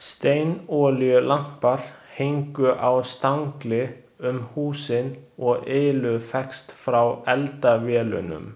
Steinolíulampar héngu á stangli um húsin og ylur fékkst frá eldavélunum.